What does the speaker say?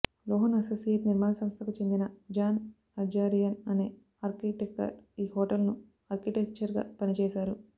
Lohan Associate నిర్మాణ సంస్థకు చెందిన జాన్ ఆర్జారియన్ అనే ఆర్కిటెక్టర్ ఈ హోటల్ కు అర్టిటెక్చర్ గా పనిచేశారు